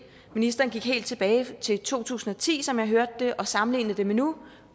ministeren gik helt tilbage til to tusind og ti som jeg hørte det og sammenlignede med nu